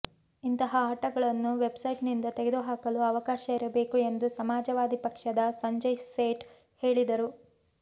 ಇಂತಹ ಆಟಗಳನ್ನು ವೆಬ್ಸೈಟ್ನಿಂದ ತೆಗೆದುಹಾಕಲು ಅವಕಾಶ ಇರಬೇಕು ಎಂದು ಸಮಾಜವಾದಿ ಪಕ್ಷದ ಸಂಜಯ್ ಸೇಠ್ ಹೇಳಿದರು